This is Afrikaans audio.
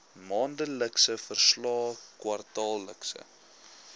maandelikse verslae kwartaallikse